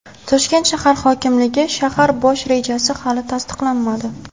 Toshkent shahar hokimligi: Shahar bosh rejasi hali tasdiqlanmadi.